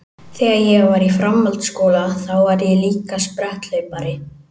Þegar ég var í framhaldsskóla þá var ég líka spretthlaupari.